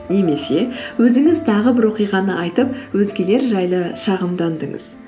немесе өзіңіз тағы бір оқиғаны айтып өзгелер жайлы шағымдандыңыз